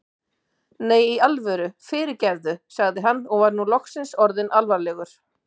Nei, í alvöru, fyrirgefðu sagði hann og var nú loks orðinn alvarlegur.